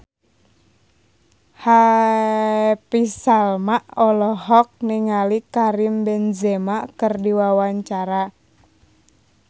Happy Salma olohok ningali Karim Benzema keur diwawancara